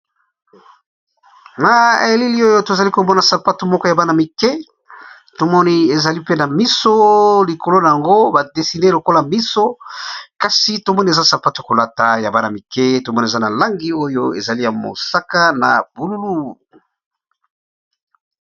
Na elili oyo tozali komona sapato moko ya bana mike tomoni ezali pe na miso likolo na yango badesine lokola miso kasi tomoni eza sapato kolata ya bana mike tomoni eza na langi oyo ezali ya mosaka na bululu.